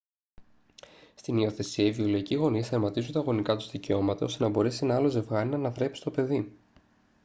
στην υιοθεσία οι βιολογικοί γονείς τερματίζουν τα γονικά τους δικαιώματα ώστε να μπορέσει ένα άλλο ζευγάρι να αναθρέψει το παιδί